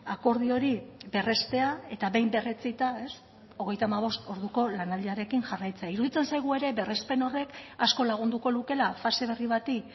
akordio hori berrestea eta behin berretsita hogeita hamabost orduko lanaldiarekin jarraitzea iruditzen zaigu ere berrespen horrek asko lagunduko lukeela fase berri bati